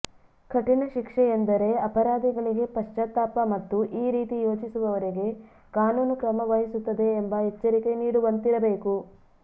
ಕಠಿಣ ಶಿಕ್ಷೆ ಎಂದರೆ ಅಪರಾಧಿಗಳಿಗೆ ಪಶ್ಚಾತ್ತಾಪ ಮತ್ತು ಈ ರೀತಿ ಯೋಚಿಸುವವರಿಗೆ ಕಾನೂನು ಕ್ರಮ ವಹಿಸುತ್ತದೆ ಎಂಬ ಎಚ್ಚರಿಕೆ ನೀಡುವಂತಿರಬೇಕು